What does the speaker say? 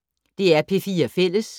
DR P4 Fælles